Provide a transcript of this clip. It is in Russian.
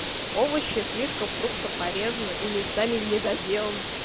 овощи слишком крупно порезанные и не сами не доделаны